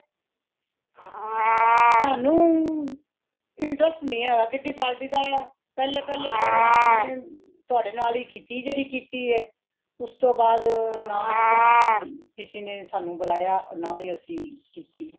ਸਾਨੂ interest ਨਹੀਂ ਹੇ ,kitty party ਦਾ ਪਹਲੇ, ਪਹਲੇ ਆਪਣੇ ਤੁਹਾਡੇ ਨਾਲ ਹੀ ਕੀਤੀ ਜੇਹੜੀ ਕੀਤੀ ਹੇ, ਉਸਤੋਂ ਬਾਦ ਨਾ ਕੋਈ ਕਿਸੇ ਨੇ ਸਾਨੂ ਬੁਲਾਇਆ , ਔਰ ਨਾ ਹੀ ਅਸੀ ਕੀਤੀ